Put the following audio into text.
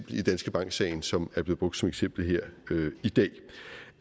i danske bank sagen som er blevet brugt som eksempel her i dag